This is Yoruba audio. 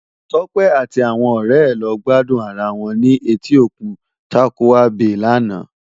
Tope àti áwòn òrè è lò gbàdún àrá wòn ni Ètí Ókún Tàkúwá Bé làná